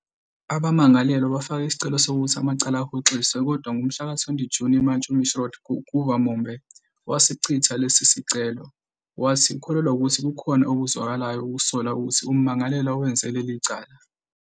Umculo we-Kwela wathonywa ukuhlanganisa umculo wabokufika baseMalawi eNingizimu Afrika, kanye nemisindo yaseNingizimu Afrika. NgesiChewa, igama elithi Khwela linencazelo efanayo kakhulu nencazelo yaseNingizimu Afrika- "ukukhuphuka".